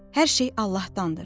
Hər şey Allahdandır.